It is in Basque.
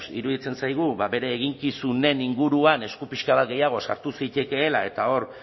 iruditzen zaigu bere eginkizunen inguruan esku pixka bat gehiago sartu zitekeela eta hor